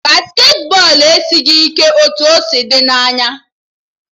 Basketị bọọlụ esighị ike ka o si dị n'anya